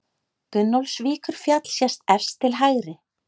Gunnólfsvíkurfjall sést efst til hægri.